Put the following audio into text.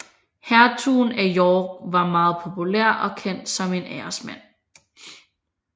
Hertugen af York var meget populær og kendt som en æresmand